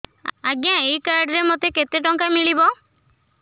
ଆଜ୍ଞା ଏଇ କାର୍ଡ ରେ ମୋତେ କେତେ ଟଙ୍କା ମିଳିବ